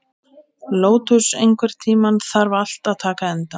Lótus, einhvern tímann þarf allt að taka enda.